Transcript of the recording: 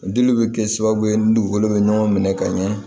Dili bɛ kɛ sababu ye ni dugukolo bɛ ɲɔgɔn minɛ ka ɲɛ